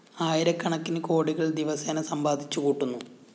ആയിരക്കണക്കിന് കോടികള്‍ ദിവസേന സമ്പാദിച്ചു കൂട്ടുന്നു